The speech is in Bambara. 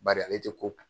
Bari ale tɛ ko kun